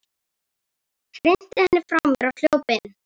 Hrinti henni frá mér og hljóp inn.